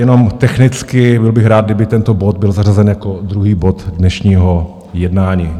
Jenom technicky, byl bych rád, kdyby tento bod byl zařazen jako druhý bod dnešního jednání.